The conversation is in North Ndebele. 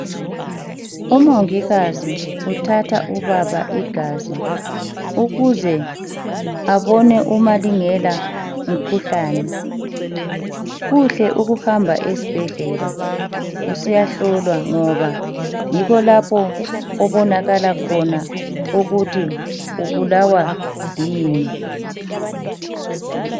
Umongikazi uthatha ubaba igazi ukuze abona uma lingela umkhuhlane. Kuhle ukuhamba esibhedlela usiyahlolwa ngoba yikho lapho okubonakala khona ukuthi ubulawa kuyini.